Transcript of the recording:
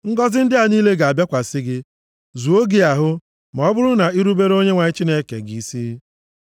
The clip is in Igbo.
Ngọzị ndị a niile ga-abịakwasị gị, zuo gị ahụ, ma ọ bụrụ na i rubere Onyenwe anyị Chineke gị isi.